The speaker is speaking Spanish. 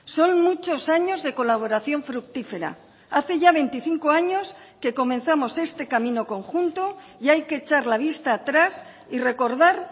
son muchos años de colaboración fructífera hace ya veinticinco años que comenzamos este camino conjunto y hay que echar la vista atrás y recordar